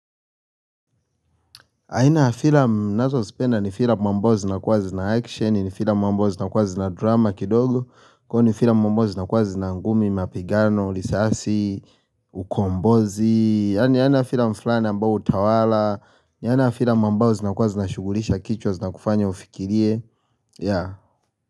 Aina ya filamu ninazozipenda ni filamu ambao zinakuwa zina action ni filamu ambao zinakuwa zina drama kidogo kwani filamu ambao zinakuwa zina ngumi, mapigano, risasi. Ukombozi, yaani yana filamu fulani ambayo hutawala yaani na filamu ambzo zinakuwa zinashughulisha kichwa zinakufanya ufikirie, yeah.